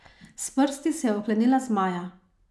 S prsti se je oklenila zmaja.